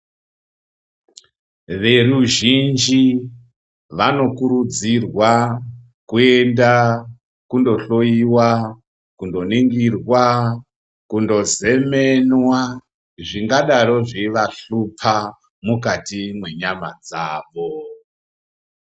Veruzhinji vanokurudzirwa kuenda kundohlowa, kundoningirwa kundozemenwa, zvingadaro zveivahlupa mukati mwenyama dzavo.